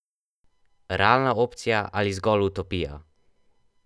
Realna opcija ali zgolj utopija?